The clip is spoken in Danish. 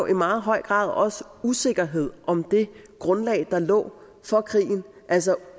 i meget høj grad usikkerhed om det grundlag der lå for krigen altså